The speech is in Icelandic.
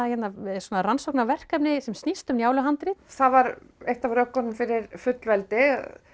svona rannsóknarverkefni sem snýst um Njáluhandrit það var eitt af rökunum fyrir fullveldi